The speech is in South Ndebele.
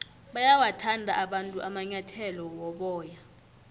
bayawathanda abantu amanyathele woboya